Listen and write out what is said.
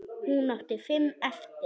Hún átti fimm eftir.